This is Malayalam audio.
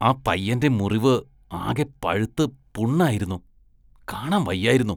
ആ പയ്യന്റെ മുറിവ് ആകെ പഴുത്ത് പുണ്ണായിരുന്നു, കാണാന്‍ വയ്യായിരുന്നു.